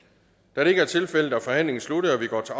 da det ikke er tilfældet er forhandlingen sluttet og vi går til